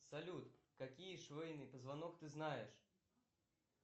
салют какие шейный позвонок ты знаешь